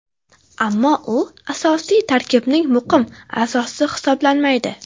Ammo u asosiy tarkibning muqim a’zosi hisoblanmaydi.